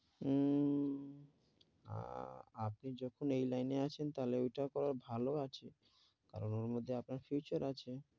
হম আহ আপনি যখন এই line এ আছেন, তাহলে ওইটা করা ভালো আছে, কারণ ওর মধ্যে আপনার future আছে,